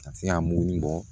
Ka se ka mugu in bɔ